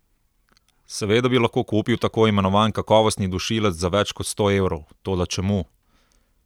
Seveda bi lahko kupil tako imenovan kakovostni dušilec za več kot sto evrov, toda čemu?